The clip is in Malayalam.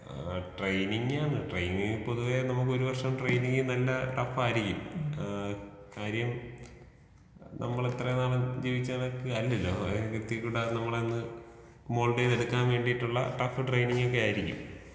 ആ ട്രെയിനിങ്ങാണ് ട്രെയിനിങ് പൊതുവേ നമുക്കൊരു വർഷം ട്രെയിനിങ് നല്ല ടഫ്ഫായിരിക്കും. ആ കാര്യം നമ്മളിത്രനാളും ജീവിച്ച കണക്ക് അല്ലല്ലോ നോട്ട്‌ ക്ലിയർ നമ്മളെയൊന്ന് മോൾടീതെടുക്കാൻ വേണ്ടീട്ടുള്ള ടഫ്ഫ് ട്രെയിനിങ്ങൊക്കെ ആയിരിക്കും.